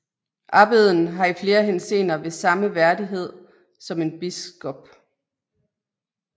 Abbeden har i flere henseender den samme værdighed som en biskop